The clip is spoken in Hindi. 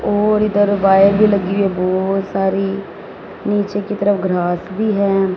और इधर वायर भी लगी है बहोत सारी नीचे की तरफ घास भी है।